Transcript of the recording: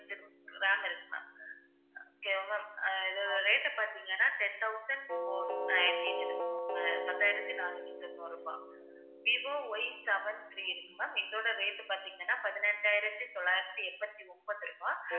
இதோட rate பாத்தீங்கன்னா ten thousand four ninety ma'am பத்தாயிரத்தி நானூத்தி தொண்ணூறு ரூபாய், விவோ Yseven three இருக்கு ma'am இதோட rate பாத்தீங்கன்னா, பதினெட்டாயிரத்தி தொள்ளாயிரத்தி எண்பத்தி ஒன்பது ரூபாய்.